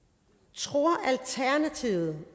tror alternativet